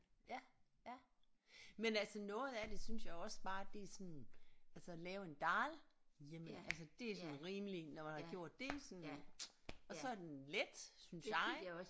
Ja ja men altså noget af det synes jeg også bare det er sådan altså lave en dhal hjemme altså det er sådan rimelig nåh nåh det var det sådan og så er den let synes jeg